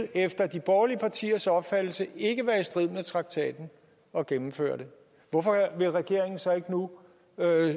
efter de borgerlige partiers opfattelse ikke ville være i strid med traktaten at gennemføre det hvorfor vil regeringen så ikke nu